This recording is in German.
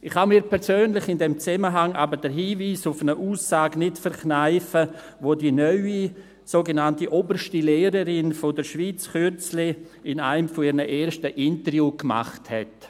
Ich kann mir persönlich in diesem Zusammenhang aber den Hinweis auf eine Aussage nicht verkneifen, welche die neue sogenannte oberste Lehrerin der Schweiz kürzlich in einem ihrer ersten Interviews gemacht hat.